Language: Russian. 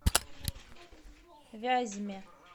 вязьме